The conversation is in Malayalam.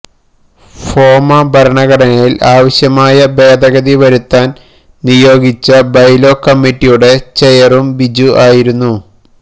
ഫോമ ഭരണഘടനയില് ആവശ്യമായ ഭേദഗതി വരുത്താന് നിയോഗിച്ച ബൈലോ കമ്മിറ്റിയുടെ ചെയറും ബിജു ആയിരുന്നു